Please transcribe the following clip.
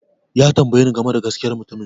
Ya tambaye ni game da gaskiyar mutumin